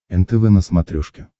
нтв на смотрешке